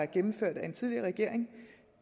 gennemført af en tidligere regering